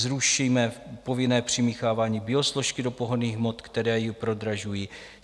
Zrušíme povinné přimíchávání biosložky do pohonných hmot, které ji prodražují.